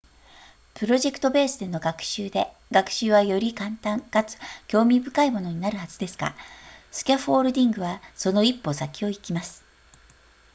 プロジェクトベースの学習で学習はより簡単かつ興味深いものになるはずですがスキャフォールディングはその1歩先を行きます